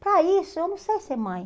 Para isso, eu não sei ser mãe.